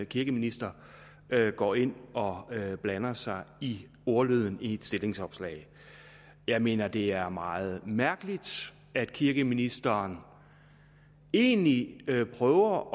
kirkeminister går ind og blander sig i ordlyden i et stillingsopslag jeg mener at det er meget mærkeligt at kirkeministeren egentlig prøver